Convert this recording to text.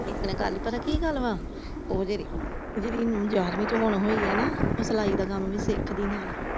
ਇਕ ਨੇ ਕਰਲੀ ਪਤਾ ਕਿ ਗੱਲ ਆ ਉਹ ਜਿੜ੍ਹੀ ਗਿਆਰਵੀ ਚ ਹੁਣ ਹੋਈ ਹਣਾ ਉਹ ਸਲਾਈ ਦਾ ਕੰਮ ਵੀ ਸਿੱਖਦੀ ਨਾਲ ।